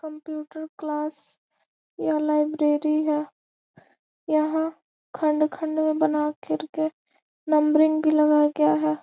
Computer class यह library है यहाँ खंड-खंड में बना कर के नंबरिंग भी लगा गया है।